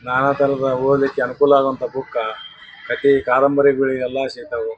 ನಾನಾ ತರಹದ ಓದ್ಲಿಕ್ಕೆ ಅನುಕೂಲ ಆಗುವಂಥ ಬುಕ್ ಕಥಿ ಕಾದಂಬರಿಗಳಿ ಯಲ್ಲಾ ಸಿಗ್ತಾವು.